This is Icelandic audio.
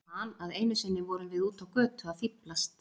Ég man að einu sinni vorum við úti á götu að fíflast.